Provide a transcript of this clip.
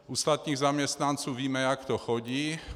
U státních zaměstnanců víme, jak to chodí.